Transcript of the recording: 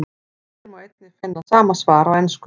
Hér má einnig finna sama svar á ensku.